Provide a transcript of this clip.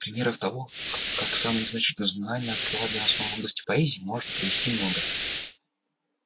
примеров того как самое незначительное знание открывает для нас новые области поэзии можно привести много